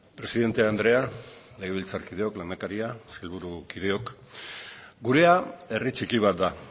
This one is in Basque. presidente andrea legebiltzarkideok lehendakaria sailburukideok gurea herri txiki bat da